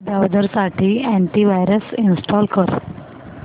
browser साठी antivirus install कर